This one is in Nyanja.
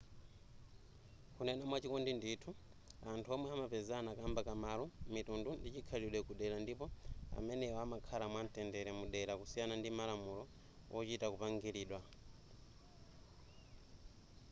kunena mwachikondi ndithu anthu omwe amapezana kamba ka malo mitundu ndi chikhalidwe ku dera ndipo amenewa amakhala mwa mtendere mu dera kusiyana ndi malamulo wochita kupangilidwa